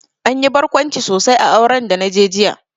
Anyi barkwanci sosai a auren da naje jiya